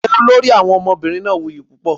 Olori Awọn omobinrin naa wuyi pupo